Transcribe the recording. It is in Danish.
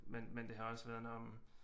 Men men det har også været